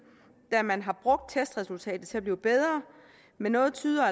da man har brugt testresultatet til at blive bedre men også tyder